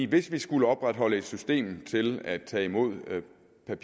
hvis vi skulle opretholde et system til at tage imod papirblanketter åbning af